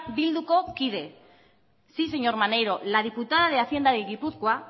bilduko kide sí señor maneiro la diputada de hacienda de gipuzkoa